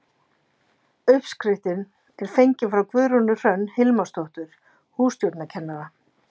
Uppskriftin er fengin frá Guðrúnu Hrönn Hilmarsdóttur hússtjórnarkennara.